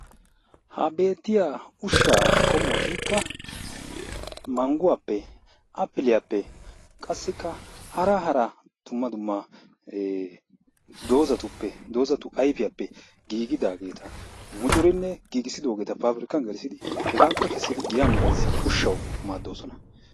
ha beettiyaa ushshaa qommotikka mangguwaappe appiliyaappe qassikka hara hara dumma dumma doozzatuppe doozzatu ayfiyaappe giigidaageta mucurinne giigisidoogeta pabirkkaani geelissidi hegaape keesidi giyaan bayzzin uushawu maaddoosona.